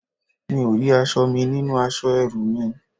Mi ò rí aṣọ mi nínú aṣọ ẹrú mi